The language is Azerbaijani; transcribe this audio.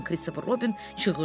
Birdən Kristofer Robin çığırdı.